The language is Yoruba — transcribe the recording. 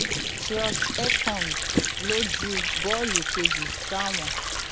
trust ekong ló ju bọọlù kejì sáwọn